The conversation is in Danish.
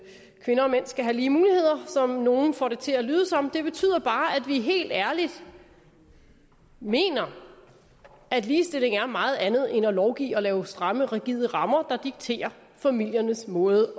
kvinder og mænd skal have lige muligheder som nogle får det til at lyde som det betyder bare at vi helt ærligt mener at ligestilling er meget andet end at lovgive og lave stramme rigide rammer der dikterer familiernes måde